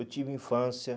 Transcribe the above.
Eu tive infância.